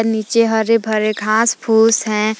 नीचे हरे भरे घास फूस है।